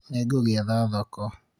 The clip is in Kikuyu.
nĩngũgĩetha thoko